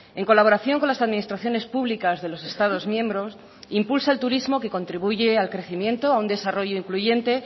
en colaboración con las administraciones públicas de los estados miembros impulsa el turismo que contribuye al crecimiento a un desarrollo incluyente